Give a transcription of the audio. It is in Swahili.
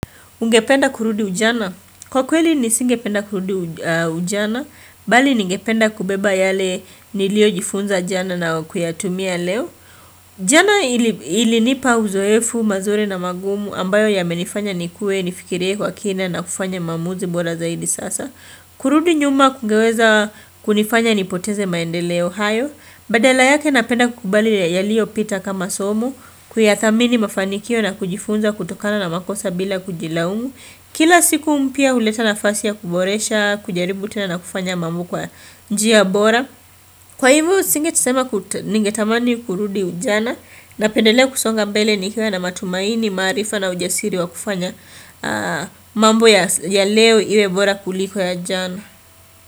Ungependa kurudi ujana? Kwa kweli nisingependa kurudi ujana, mbali ningependa kubeba yale niliojifunza jana na kuyatumia leo. Jana ilinipa uzoefu mazuri na magumu ambayo yamenifanya nikuwe nifikirie kwa kina na kufanya maamuzi bora zaidi sasa. Kurudi nyuma kungeweza kunifanya nipoteze maendeleo hayo. Badala yake napenda kukubali yaliyo pita kama somo Kuyadhamini mafanikio na kujifunza kutokana na makosa bila kujilaumu Kila siku mpya huleta nafasi ya kuboresha kujaribu tena na kufanya mambo kwa njia bora Kwa hivyo singesema ningetamani kurudi ujana Napendelea kusonga mbele nikiwa na matumaini maarifa na ujasiri wa kufanya mambo ya leo iwe bora kuliko ya jana.